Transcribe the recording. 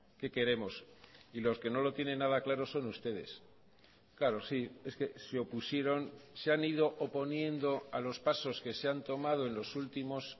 qué queremos y los que no lo tienen nada claro son ustedes claro sí es que se opusieron se han ido oponiendo a los pasos que se han tomado en los últimos